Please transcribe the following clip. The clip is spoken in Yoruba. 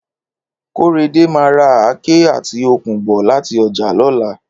Kóredé máa ra àáké àti okùn bọ̀ láti ọjà lọ́la